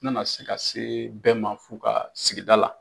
U nana se ka se bɛɛ ma f'u ka sigida la